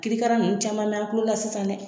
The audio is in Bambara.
Kirikara ninnu caman mɛn an tulo la sisan dɛ